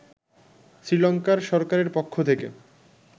শ্রীলংকার সরকারের পক্ষ থেকে